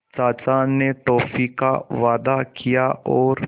चाचा ने टॉफ़ी का वादा किया और